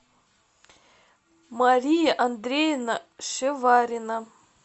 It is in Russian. мария андреевна шеварина